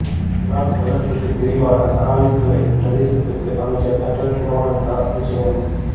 இறால் வளர்ப்புக்கு தெரிவான அராலித்துறை பிரதேசத்திற்கு அமைச்சர் டக்ளஸ் தேவானந்தா விஜயம்